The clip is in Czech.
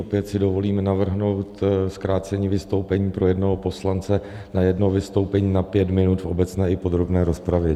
Opět si dovolím navrhnout zkrácení vystoupení pro jednoho poslance na jedno vystoupení na pět minut v obecné i podrobné rozpravě.